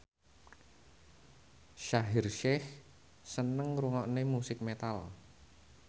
Shaheer Sheikh seneng ngrungokne musik metal